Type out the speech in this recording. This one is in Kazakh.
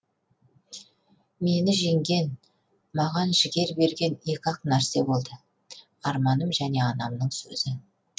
мені жеңген маған жігер берген екі ақ нәрсе болды арманым және анамның сөзі